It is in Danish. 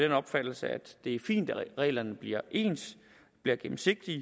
opfattelse at det er fint at reglerne bliver ens bliver gennemsigtige